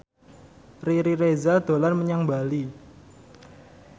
Riri Reza dolan menyang Bali